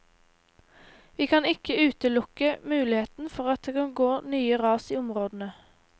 Vi kan ikke utelukke muligheten for at det kan gå nye ras i områdene.